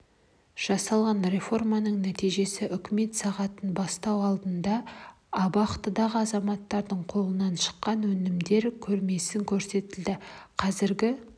жасалынған реформаның нәтижесі үкімет сағаты басталу алдында абақтыдағы азаматтардың қолынан шыққан өнімдер көрмесі көрсетілді қазіргі